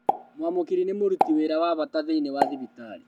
Mwamũkĩri nĩ mũruti wĩra wa bata thĩinĩ wa thibitarĩ